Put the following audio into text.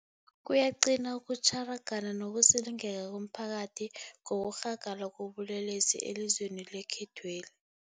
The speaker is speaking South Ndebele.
Kuyaqina ukutjhara, gana nokusilingeka komphakathi ngokurhagala kobulelesi elizweni lekhethweli.